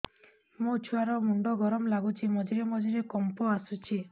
ମୋ ଛୁଆ ର ମୁଣ୍ଡ ଗରମ ଲାଗୁଚି ମଝିରେ ମଝିରେ କମ୍ପ ଆସୁଛି